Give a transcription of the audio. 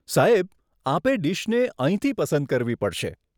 સાહેબ, આપે ડીશને અહીંથી પસંદ કરવી પડશે.